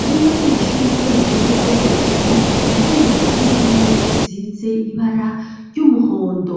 ivyumba vy'amashure vyonyene vyo hejuru nivyo bifise impome zisize ibara ry'umuhondo.